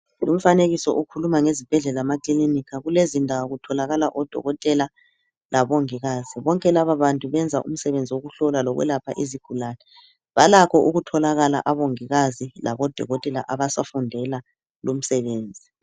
Umfanekiso okhuluma ngezibhedlela lamakliniki kulezindawo kutholakala odokotela labongikazi bonke lababantu benza umsebenzi wokuhlola lokwelapha izigulane Balakho ukutholakala odokotela labongikazi abasafundela umsebenzi.